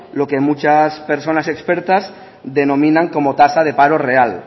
lo que muchas personas expertas denominan como tasa de paro real